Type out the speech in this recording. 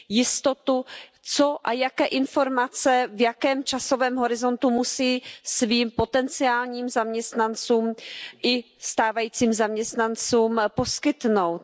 jistotu, co a jaké informace, v jakém časovém horizontu musí svým potenciálním zaměstnancům i stávajícím zaměstnancům poskytnout.